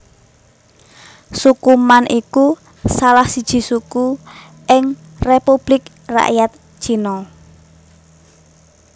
Suku Man iku salah siji suku ing Republik Rakyat Cina